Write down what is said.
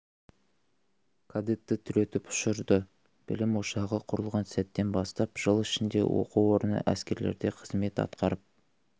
кадетті түлетіп ұшырды білім ошағы құрылған сәттен бастап жыл ішінде оқу орны әскерлерде қызмет атқарып